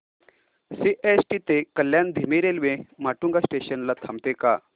CST ते कल्याण धीमी railway Matunga station ला थांबते का